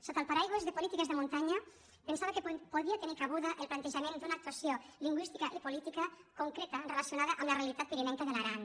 sota el paraigua de polítiques de muntanya pensava que podia tenir cabuda el plantejament d’una actuació lingüística i política concreta relacionada amb la realitat pirinenca de l’aran